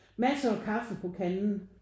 Massere kaffe på kanden